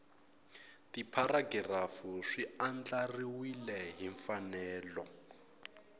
tipharagirafu swi andlariwile hi mfanelo